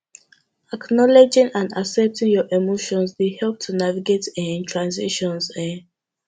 acknowledging and accepting your emotions dey help you navigate um transitions um